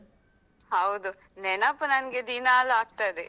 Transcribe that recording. ಹೌದು, ನೆನೆಪು ನಂಗೆ ದಿನಾಲೂ ಆಗ್ತದೆ.